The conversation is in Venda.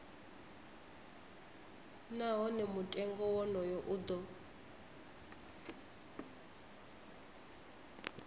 nahone mutengo wonoyo u do